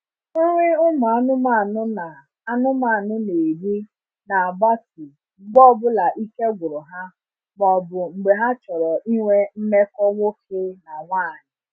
Nri ụmụ anụmanụ na anụmanụ na eri na gbatu mgbe ọbụla ike gwụru ha ma ọbụ mgbe ha chọrọ ịnwe mmekọ nwoke na nwanyi